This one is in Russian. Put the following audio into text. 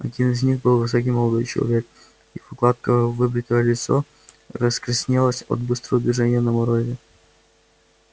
один из них был высокий молодой человек его гладко выбритое лицо раскраснелось от быстрого движения на морозе